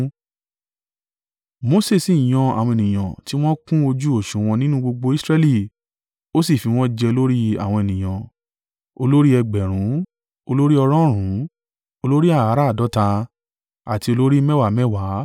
Mose sì yan àwọn ènìyàn tí wọ́n kún ojú òsùwọ̀n nínú gbogbo Israẹli; ó sì fi wọ́n jẹ olórí àwọn ènìyàn, olórí ẹgbẹẹ̀rún, olórí ọ̀rọ̀ọ̀rún, olórí àràádọ́ta, àti olórí mẹ́wàá mẹ́wàá.